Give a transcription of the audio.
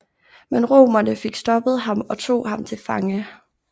Men romerne fik stoppet ham og tog ham til fange